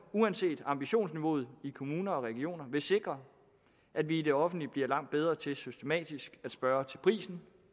uanset ambitionsniveauet i kommuner og regioner vil sikre at vi i det offentlige bliver langt bedre til systematisk at spørge til prisen